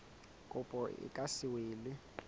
kopo e ka se elwe